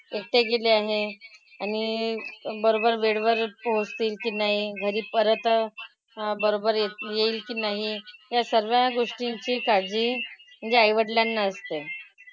एकटे गेले आहेत. आणि बरोबर वेळेवर पोहोचतील की नाही. घरी परत अं बरोबर येती येईल की नाही. या सगळ्या गोष्टींची काळजी म्हणजे आईवडिलांना असते.